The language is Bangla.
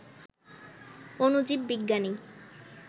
অণুজীব বিজ্ঞানী